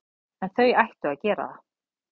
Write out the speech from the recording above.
En þau ættu að gera það.